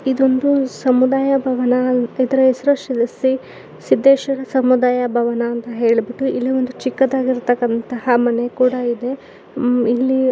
ಇದೊಂದು ಸಮುದಾಯ ಭವನ ಇದರ ಹೆಸರು ಶ್ರೀ ಸಿದ್ದೇಶ್ವರ ಸಮುದಾಯ ಭವನ ಅಂತ ಹೇಳಬಿಟ್ಟು ಇಲ್ಲಿ ಒಂದು ಚಿಕ್ಕದಾಗಿ ಇರತ್ತಕಂತ ಮನೆ ಕೂಡ ಇದೆ ಇಲ್ಲಿ --